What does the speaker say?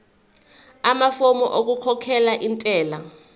amafomu okukhokhela intela